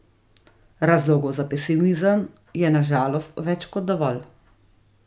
Razlogov za pesimizem je na žalost več kot dovolj.